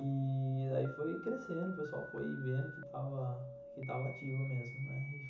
E daí foi crescendo, o pessoal foi vendo que estava ativo mesmo, né.